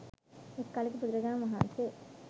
එක් කලෙක බුදුරජාණන් වහන්සේ